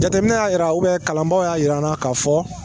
Jateminɛ y'a yira kalanbaw y'a yir'an na k'a fɔ.